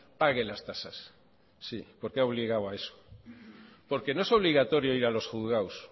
pague las tasas sí porque ha obligado a eso porque no es obligatorio ir a los juzgados